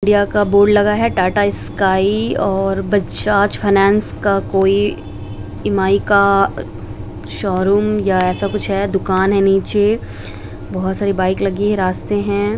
India का board लगा है टाटा स्काई और बजाज फाइनेंस का कोई इ.एम.आई. का शोरूम या ऐसा कुछ है दुकान है नीचे बहुत सारी बाइक लगी है रास्ते है।